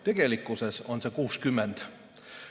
Tegelikkuses on see 60.